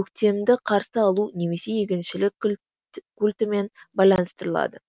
көктемді қарсы алу немесе егіншілік культімен байланыстырылады